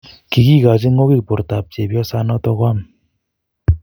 kigigochi ng'ogik bortab chepyosanoton koam.